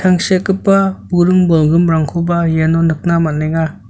tangsekgipa buring bolgrimrangkoba iano nikna man·enga.